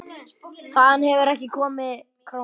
Þaðan hefur ekki komið króna.